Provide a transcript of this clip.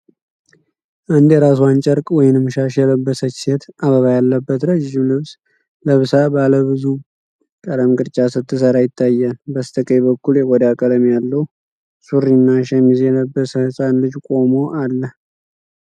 አንድ የራስዋን ጨርቅ (ሻሽ) የለበሰች ሴት፣ አበባ ያለበት ረጅም ልብስ ለብሳ፣ ባለብዙ ቀለም ቅርጫት ስትሰራ ይታያል። በስተቀኝ በኩል የቆዳ ቀለም ያለው ሱሪና ሸሚዝ የለበሰ ሕፃን ልጅ ቆሞ አለ።